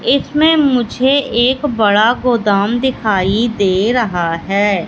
इसमें मुझे एक बड़ा गोदाम दिखाई दे रहा हैं।